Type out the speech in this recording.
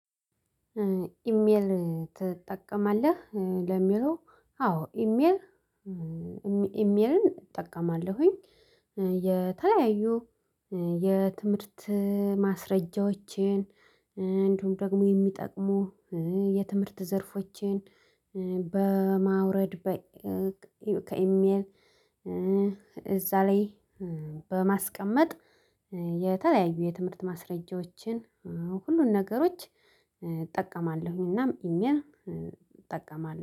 ኢሜይል ትጠቀማለህ ለሚለው? አዎ ኢሜይል ኢሜይልን እጠቀማለሁኝ። የተለያዩ የትምህርት ማስረጃዎችን እንዲሁም ደግሞ የሚጠቅሙ የትምህርት ዘርፎችን በማውረድ በ ከኢሜይል እዛ ላይ በማስቀመጥ የተለያዩ የትምህርት ማስረጃዎችን ሁሉን ነገሮች እጠቀማለሁኝ። እናም ኢሜይል እጠቀማለሁ